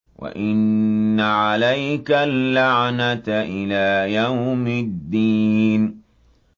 وَإِنَّ عَلَيْكَ اللَّعْنَةَ إِلَىٰ يَوْمِ الدِّينِ